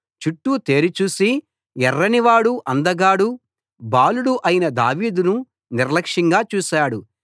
చుట్టూ తేరి చూసి ఎర్రనివాడు అందగాడు బాలుడు అయిన దావీదును నిర్లక్ష్యంగా చూశాడు